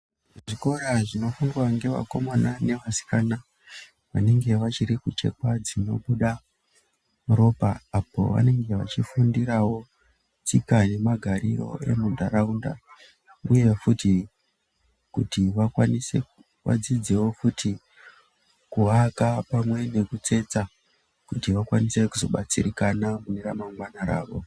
Zvikora zvinofundwa ngevakomana nevasikana vanenge vachiri kuchekwa dzinobuda ropa apo vanenge vachifundirawo tsika nemagarire edu emuntaraunda kuti vakwanise vadzidzewo kuti, kuaka pamwe nekutsetsa kuti vakwanise muzobatsirikana mune ramangwana ravo.